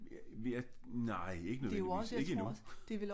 Ja nej ikke nødvendigvis ikke endnu